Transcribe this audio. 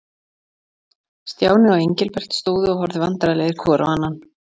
Stjáni og Engilbert stóðu og horfðu vandræðalegir hvor á annan.